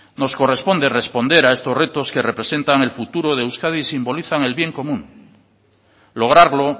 nos corresponde responder a estos retos que representan el futuro de euskadi y simbolizan el bien común lograrlo